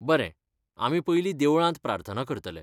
बरें, आमी पयलीं देवळांत प्रार्थना करतले.